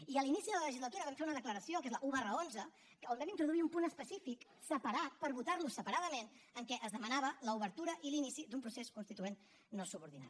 i a l’inici de la legislatura vam fer una declaració que és la un xi on vam introduir un punt específic separat per votar lo separadament en què es demanava l’obertura i l’inici d’un procés constituent no subordinat